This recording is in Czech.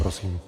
Prosím.